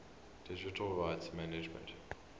digital rights management